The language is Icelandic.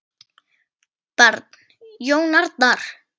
Barn: Jón Arnar.